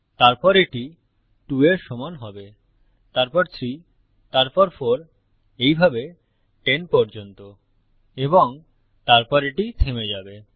তারপর এটি 2 এর সমান হবে তারপর 3 তারপর 4 এইভাবে 10 পর্যন্ত এবং তারপর এটি থেমে যাবে